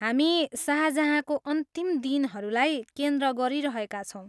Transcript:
हामी शाहजहाँको अन्तिम दिनहरूलाई केन्द्र गरिरहेका छौँ।